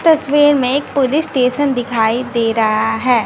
तस्वीर में एक पुलिस स्टेशन दिखाई दे रहा है।